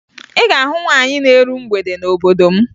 Ị ga-ahụ nwaanyị na-eru mgbede n'obodo m